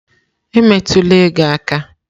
Emetụla ego m aka!